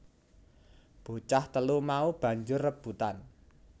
Bocah telu mau banjur rebutan